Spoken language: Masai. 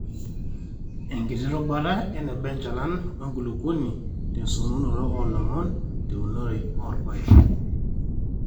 enkiti rubata eneba enchalan oonkulupok te sotunoto oolomon teunore oorpaek